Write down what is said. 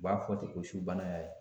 U b'a fɔ ten ko su bana y'a ye.